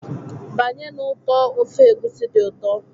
Banye na ụtọ ofe Egusi dị ụtọ.